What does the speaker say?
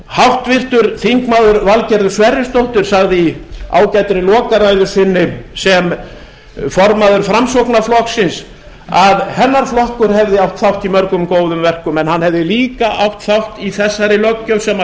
háttvirtur þingmaður valgerður sverrisdóttir sagði í ágætri lokaræðu sinni sem formaður framsóknarflokksins að hennar flokkur hefði átt þátt í mörgum góðum verkum en hann hefði líka átt þátt í þessari löggjöf sem